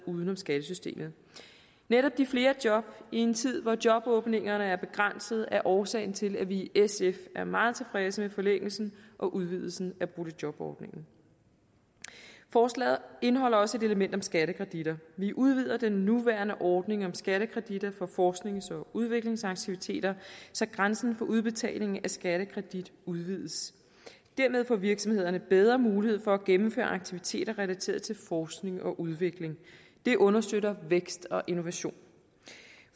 uden om skattesystemet netop de flere job i en tid hvor jobåbningerne er begrænsede er årsagen til at vi i sf er meget tilfredse med forlængelsen og udvidelsen af boligjobordningen forslaget indeholder også et element om skattekreditter vi udvider den nuværende ordning om skattekreditter for forsknings og udviklingsaktiviteter så grænsen for udbetaling af skattekredit udvides dermed får virksomhederne bedre mulighed for at gennemføre aktiviteter relateret til forskning og udvikling det understøtter vækst og innovation